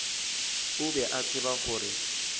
o be a tseba gore